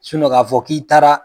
k'a fɔ k'i taara